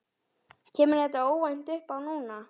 Kemur þetta óvænt uppá núna?